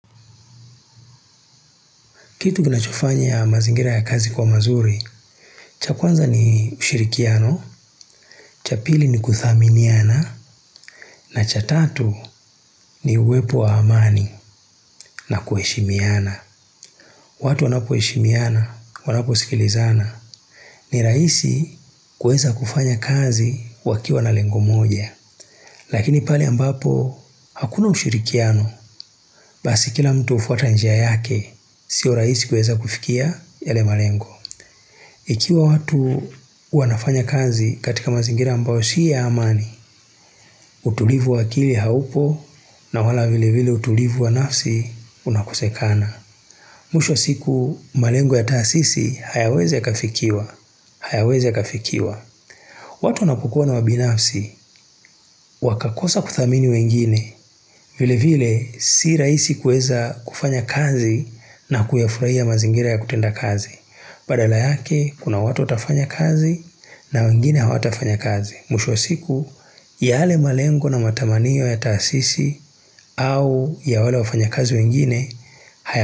Kitu kina chufanya ya mazingira ya kazi kwa mazuri, cha kwanza ni ushirikiano, cha pili ni kudhaminiana, na cha tatu ni uwepo wa amani na kuheshimiana. Watu wanapu heshimiana, wanapu sikilizana, ni raisi kueza kufanya kazi wakiwa na lengo moja. Lakini pali ambapo, hakuna ushirikiano, basi kila mtu ufuata njia yake, sio raisi kueza kufikia yale malengo. Ikiwa watu wanafanya kazi katika mazingira ambao si ya amani, utulivu wa akili haupo na wala vile vile utulivu wa nafsi unakusekana. Musho siku malengo ya taasisi hayaweze kafikiwa, hayaweze kafikiwa. Watu na kukua na wabinafsi, wakakosa kuthamini wengine, vile vile si rahisi kueza kufanya kazi na kuyafurahia mazingira ya kutenda kazi. Badala yake, kuna watu tafanya kazi na wengine hawa tafanya kazi. Mwisho wa siku, ya ale malengo na matamaniyo ya taasisi au ya wale wafanya kazi wengine, haya.